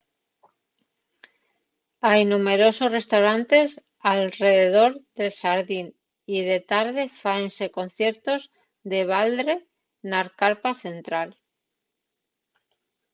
hai numberosos restaurantes alredor del xardín y de tarde fáense conciertos de baldre na carpa central